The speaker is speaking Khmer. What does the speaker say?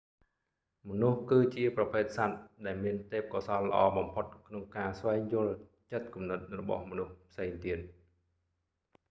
មនុស្ស គឺជាប្រភេទសត្វ ដែលមានទេពកោសល្យល្អបំផុតក្នុងការស្វែងយល់ចិត្តគំនិតរបស់មនុស្សផ្សេងទៀត